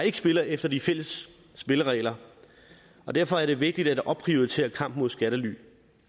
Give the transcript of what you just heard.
ikke spiller efter de fælles spilleregler derfor er det vigtigt at opprioritere kampen mod skattely